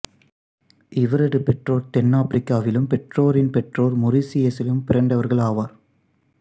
இவரது பெற்றோர் தென்னாப்பிரிக்காவிலும் பெற்றோரின் பெற்றொர் மொரிசியசிலும் பிறந்தவர்கள் ஆவர்